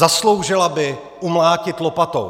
Zasloužila by umlátit lopatou!